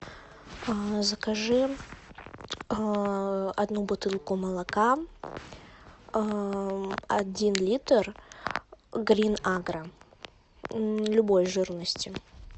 закажи одну бутылку молока один литр грин агра любой жирности